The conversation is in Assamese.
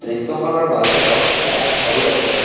দৃশ্যখনৰ মাজভাগত এটা ঘৰো আছে।